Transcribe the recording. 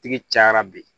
Tigi cayara bi